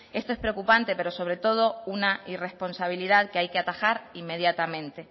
esto es preocupante pero sobre todo una irresponsabilidad que hay que atajar inmediatamente